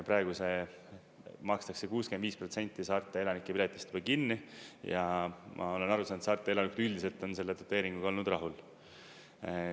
Praegu see makstakse 65 protsenti saarte elanike piletist juba kinni ja ma olen aru saanud, et saarte elanikud üldiselt on selle doteeringuga olnud rahul.